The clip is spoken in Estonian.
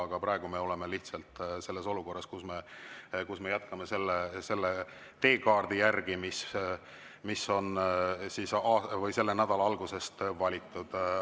Aga praegu me oleme lihtsalt selles olukorras, kus me jätkame selle teekaardi järgi, mis on selle nädala alguses valitud.